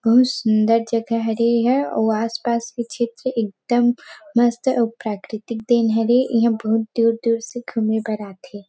बहुत सुन्दर जगह हरे एहा अउ आस- पास अच्छे-अच्छे एकदम मस्त अउ प्राकृतिक देन हरे इहा बहुत दूर- दूर से घूमे बर आथे ।